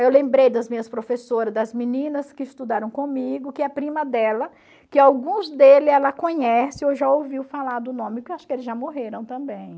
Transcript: Eu lembrei das minhas professoras, das meninas que estudaram comigo, que a prima dela, que alguns deles ela conhece, ou já ouviu falar do nome, porque acho que eles já morreram também.